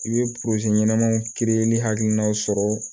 I bɛ ɲɛnamaw kiiri ni hakilinaw sɔrɔ